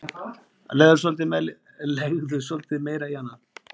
Legðu svolítið meira í hana.